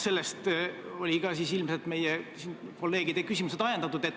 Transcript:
Sellest olid ka siis ilmselt meie kolleegide küsimused ajendatud.